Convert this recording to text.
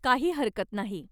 काही हरकत नाही.